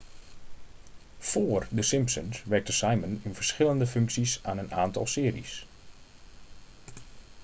vóór the simpsons werkte simon in verschillende functies aan een aantal series